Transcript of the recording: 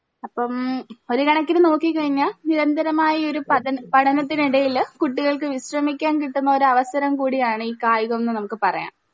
അപ്പം ഒര് കണക്കിന്ന് നോക്കി കഴിഞ്ഞ നിരന്തരമായി ഒരു പദന പഠനത്തിനിടയിൽ കുട്ടികൾക്ക് വിശ്രമിക്കാൻ കിട്ടുന്ന ഒരവസരം കൂടിയാണ് ഈ കായികം ന്ന് നമ്മുക്ക് പറയാം